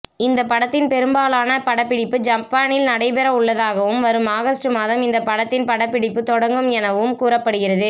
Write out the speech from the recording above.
இந்த படத்தின் பெரும்பாலான படப்பிடிப்பு ஜப்பானில் நடைபெறவுள்ளதாகவும் வரும் ஆகஸ்ட் மாதம் இந்த படத்தின் படப்பிடிப்பு தொடங்கும் என்ரும் கூறப்படுகிறது